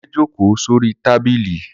Kunle jókòó sórí tábìlì